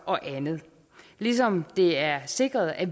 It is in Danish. og andet ligesom det er sikret at